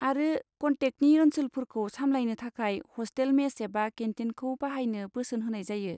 आरो कन्टेकनि ओनसोलफोरखौ सामलायनो थाखाय हस्टेल मेस एबा केन्टिनखौ बाहायनो बोसोन होनाय जायो।